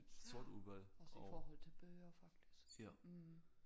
Ja også i forhold til bøger faktisk mh